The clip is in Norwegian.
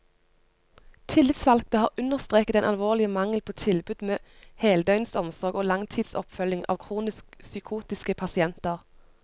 Tillitsvalgte har understreket den alvorlige mangel på tilbud med heldøgnsomsorg og langtidsoppfølging av kronisk psykotiske pasienter.